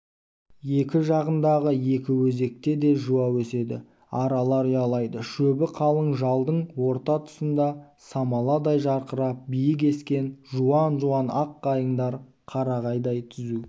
екі жағындағы екі өзекте де жуа өседі аралар ұялайды шөбі қалың жалдың орта тұсында самаладай жарқырап биік ескен жуан-жуан ақ қайыңдар қарағайдай түзу